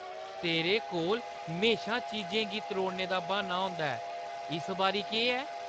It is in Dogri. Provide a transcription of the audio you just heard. तेरे कोल म्हेशा चीजें गी त्रोड़ने दा ब्हान्ना होंदा ऐ। इस बारी केह् ऐ?